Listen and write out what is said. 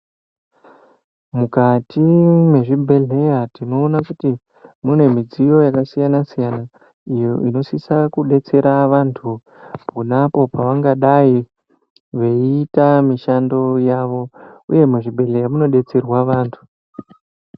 Mukati mwe zvibhedhleya tinoona kuti mune midziyo yaka siyana siyana iyo ino sisa kudetsera vantu ponapo pavangadai veyiiita mishando yavo uye mu zvibhedhlera muno detserwa vantu.